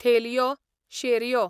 थेलयो, शेरयो